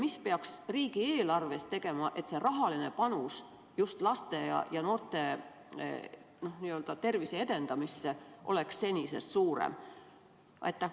Mida peaks riigieelarvest tegema, et see rahaline panus just laste ja noorte tervise edendamisse oleks senisest suurem?